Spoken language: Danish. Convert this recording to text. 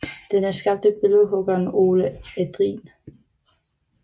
Den er skabt af billedhuggeren Olle Adrin